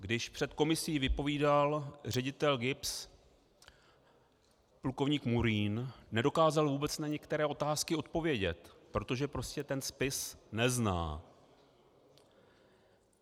Když před komisí vypovídal ředitel GIBS plukovník Murín, nedokázal vůbec na některé otázky odpovědět, protože prostě ten spis nezná.